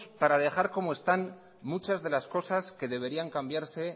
para dejar como están muchas de las cosas que deberían cambiarse